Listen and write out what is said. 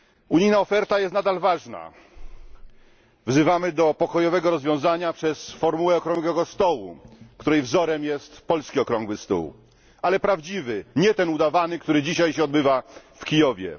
Unijna oferta jest nadal ważna, wzywamy do pokojowego rozwiązania przez formułę okrągłego stołu, której wzorem jest polski Okrągły Stół, ale prawdziwy, nie ten udawany, który dzisiaj się odbywa w Kijowie.